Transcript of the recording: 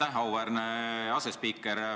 Aitäh, auväärne asespiiker!